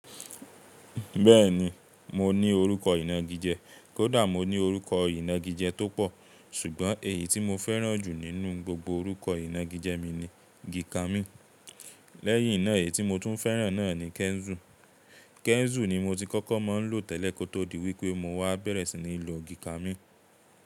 Bẹ́ẹ̀ni mo ní orúkọ ìnagijẹ, kódà mo ní orúkọ ìnagijẹ tó pọ̀, ṣùgbọ́n èyí tí mo fẹ́ràn jù nínú gbogbo orúkọ ìnagijẹ mi ni Gìkamí. Lẹ́yìn náà èyí tí mo tún fẹ́ràn náà ni Kẹ́nzù. Kẹ́nzù ni mo ti kọ́kọ́ máa ń lò tẹ́lẹ̀ kó tó di wípé mo wá bẹ̀rẹ̀ sí ní lo Gìkamí.